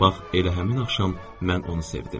Bax elə həmin axşam mən onu sevdim.